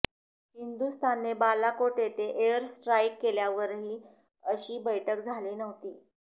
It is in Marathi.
हिंदुस्थानने बालाकोट येथे एअर स्ट्राईक केल्यावरही अशी बैठक झाली नव्हती